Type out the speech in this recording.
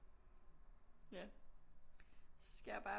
Ja så skal jeg bare